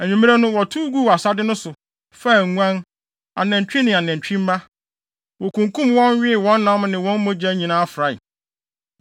Anwummere no, wɔtow guu asade no so, faa nguan, anantwi ne anantwi mma. Wokunkum wɔn, wee wɔn nam ne wɔn mogya nyinaa frae.